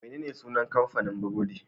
Menene sunan kamfanin burodi?